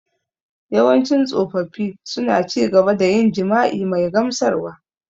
Yawancin tsofaffi suna ci gaba da yin jima’i mai gamsarwa.